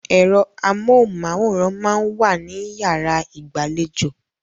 Ẹ̀rọ amóhùn-máwòrán máa ń wà ní yàrá ìgbàlejò.